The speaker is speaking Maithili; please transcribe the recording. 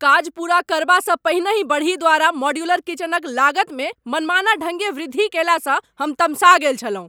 काज पूरा करबासँ पहिनहि बड़ही द्वारा मॉड्यूलर किचनक लागतमे मनमाना ढङ्गे वृद्धि कयलासँ हम तमसा गेल छलहुँ।